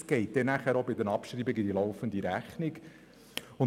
Das wirkt sich mit den Abschreibungen auf die laufende Rechnung aus.